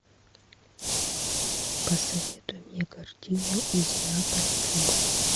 посоветуй мне картину из неаполя с любовь